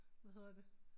Hvad hedder det